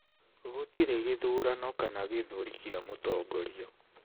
Gũtirĩ gĩthurano kana gĩthũri kĩa mũtongoria.